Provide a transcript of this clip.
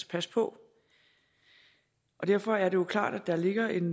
passe på derfor er det jo klart at der ligger en